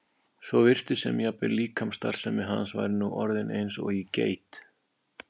svo virtist sem jafnvel líkamsstarfsemi hans væri nú orðin eins og í geit.